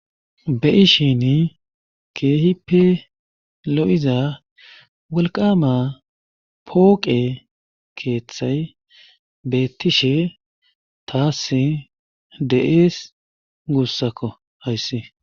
Be7ishini keehippe lo7iza qolqqaama pooqe keethya beettishe taassi de7ees guussako hayssi.